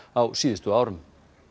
á síðustu árum